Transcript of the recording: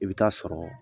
I bɛ taa sɔrɔ